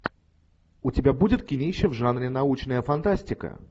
у тебя будет кинище в жанре научная фантастика